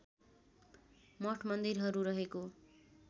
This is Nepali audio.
मठ मन्दिरहरू रहेको